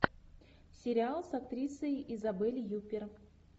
сериал с актрисой изабель юппер